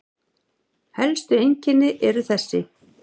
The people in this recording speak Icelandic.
Helstu einkennin eru þessi